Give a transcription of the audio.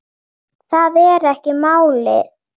Það er ekki málið.